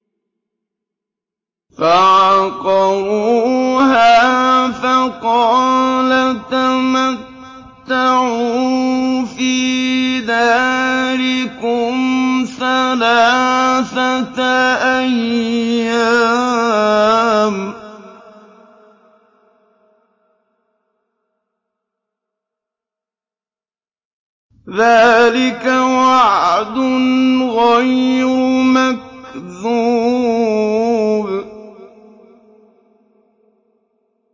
فَعَقَرُوهَا فَقَالَ تَمَتَّعُوا فِي دَارِكُمْ ثَلَاثَةَ أَيَّامٍ ۖ ذَٰلِكَ وَعْدٌ غَيْرُ مَكْذُوبٍ